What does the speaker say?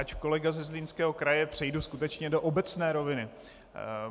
Ač kolega ze Zlínského kraje, přejdu skutečně do obecné roviny.